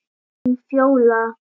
Þín Fjóla.